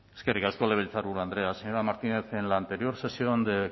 eskerrik asko legebiltzarburu andrea señora martínez en la anterior sesión de